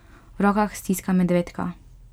V rokah stiska medvedka.